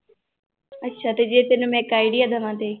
ਅੱਛਾ ਤੇ ਜੇ ਤੈਨੂੰ ਮੈਂ ਇੱਕ idea ਦੇਵਾਂ ਤੇ